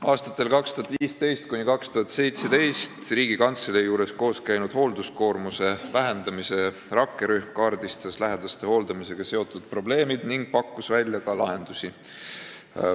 Aastatel 2015–2017 Riigikantselei juures koos käinud hoolduskoormuse vähendamise rakkerühm kaardistas lähedaste hooldamisega seotud probleemid ning pakkus välja ka lahendusi.